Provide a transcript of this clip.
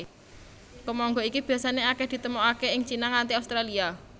Kemangga iki biasané akèh ditemokaké ing Cina nganti Australia